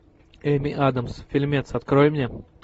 эми адамс фильмец открой мне